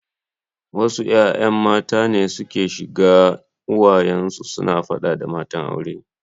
Wasu ’ya’yan mata ne suke shiga uwayen su suna fada da matan aure.